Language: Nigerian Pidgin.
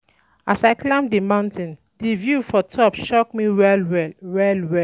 As I climb di mountain, di view for top shock me well-well. well-well.